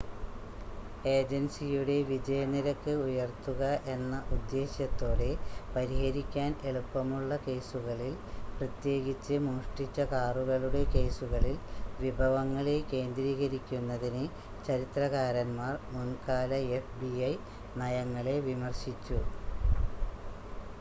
ഏജൻസിയുടെ വിജയ നിരക്ക് ഉയർത്തുക എന്ന ഉദ്ദേശ്യത്തോടെ പരിഹരിക്കാൻ എളുപ്പമുള്ള കേസുകളിൽ പ്രത്യേകിച്ച് മോഷ്ടിച്ച കാറുകളുടെ കേസുകളിൽ വിഭവങ്ങളെ കേന്ദ്രീകരിക്കുന്നതിന് ചരിത്രകാരന്മാർ മുൻകാല fbi നയങ്ങളെ വിമർശിച്ചു